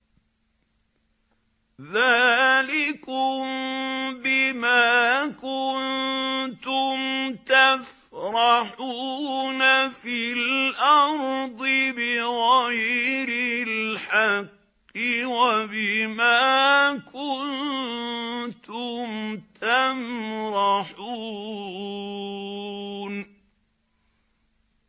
ذَٰلِكُم بِمَا كُنتُمْ تَفْرَحُونَ فِي الْأَرْضِ بِغَيْرِ الْحَقِّ وَبِمَا كُنتُمْ تَمْرَحُونَ